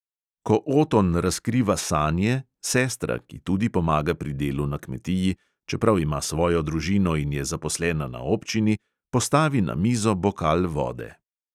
Ko oton razkriva sanje, sestra, ki tudi pomaga pri delu na kmetiji, čeprav ima svojo družino in je zaposlena na občini, postavi na mizo bokal vode.